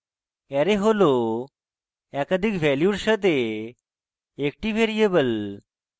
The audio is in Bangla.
array হল একাধিক ভ্যালুর সাথে একটি ভ্যারিয়েবল